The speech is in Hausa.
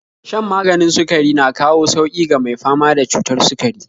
Shan maganin sukari na kawo sauƙi ga mai fama da cutar sukari